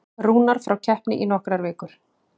Rúnar frá keppni í nokkrar vikur